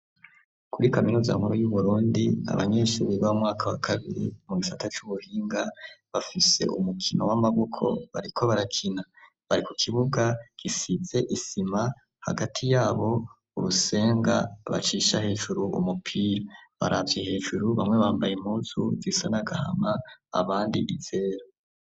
Kuri kaminuza nkuru y'uburundi abanyeshure bo mumwaka wakabiri mugisata c'ubuhinga bafise umukino w'amaboko bariko barakina bari kukibuga gisize isima hagati yabo hari urusenga bacisha hejuru umupira baravye hejuru bamwe bambaye impuzu zisa nagahama abandi izera.